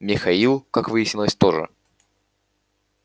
михаил как выяснилось тоже